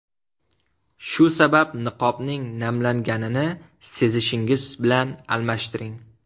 Shu sabab niqobning namlanganini sezishingiz bilan almashtiring.